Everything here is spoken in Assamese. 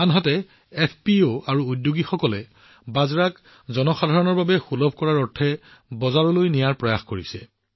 আনহাতে এফপিঅ আৰু উদ্যোগীসকলে বাজৰা ক্ৰয় কৰা আৰু সেইবোৰ জনসাধাৰণৰ বাবে উপলব্ধ কৰি তুলিবলৈ প্ৰচেষ্টা আৰম্ভ কৰিছে